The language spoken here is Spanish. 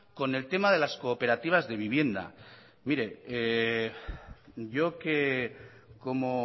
con el tema de las cooperativas de vivienda mire yo que como